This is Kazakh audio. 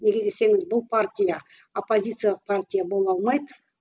неге десеңіз бұл партия оппозициялық партия бола алмайды